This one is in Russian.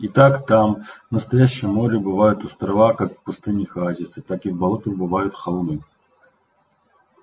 и так там в настоящем море бывают острова как в пустынях оазисы так и в болотах бывают холмы